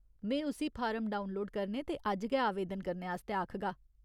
में उस्सी form download करने ते अज्ज गै आवेदन करने आस्तै आखगा।